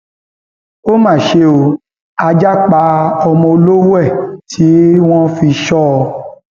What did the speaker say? ó mà ṣe o ajá pa ọmọ olówó ẹ tí wọn fi sọ ọ